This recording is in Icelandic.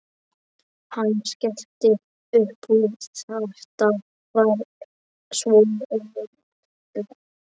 Hann skellti upp úr, þetta var svo ruglað.